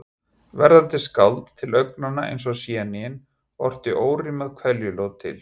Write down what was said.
Verðandi skáld, til augnanna eins og séníin, orti órímað kveðjuljóð til